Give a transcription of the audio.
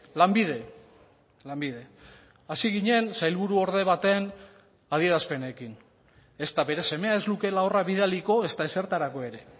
lanbide lanbide hasi ginen sailburuorde baten adierazpenekin ezta bere semea ez lukeela horra bidaliko ezta ezertarako ere